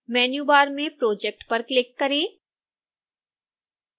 menu bar में project पर click करें